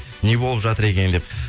не болып жатыр екен деп